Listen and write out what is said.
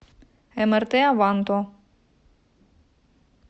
эмэртэ аванто